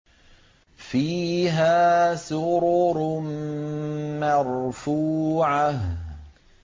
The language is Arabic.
فِيهَا سُرُرٌ مَّرْفُوعَةٌ